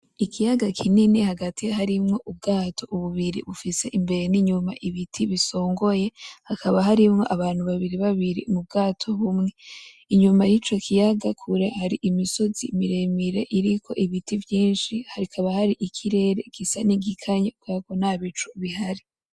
Ikiyaga kinini hagati harimwo ubwato bubiri bufise imbere n'inyuma ibiti bisongoye, hakaba harimwo abantu babiri babiri mu bwato bumwe, inyuma y'ico kiyaga kure hari imisozi miremire iriko ibiti vyinshi hakaba hari ikirere gisa nk'igikanye kuberako ko nta bicu bihari .